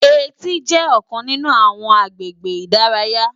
Éti jè òkán ninú áwòn àgbégé idàráyá